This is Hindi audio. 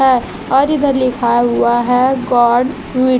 है और इधर लिखा हुआ हैं गॉड वी--